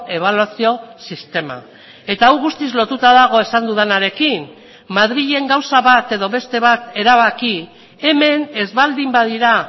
ebaluazio sistema eta hau guztiz lotuta dago esan dudanarekin madrilen gauza bat edo beste bat erabaki hemen ez baldin badira